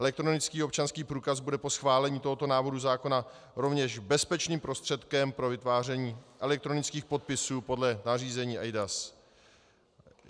Elektronický občanský průkaz bude po schválení tohoto návrhu zákona rovněž bezpečným prostředkem pro vytváření elektronických podpisů podle nařízení eIDAS.